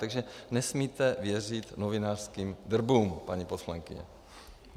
Takže nesmíte věřit novinářským drbům, paní poslankyně.